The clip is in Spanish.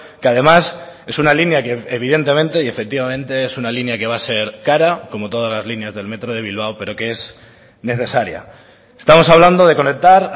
que además es una línea que evidentemente y efectivamente es una línea que va a ser cara como todas las líneas del metro de bilbao pero que es necesaria estamos hablando de conectar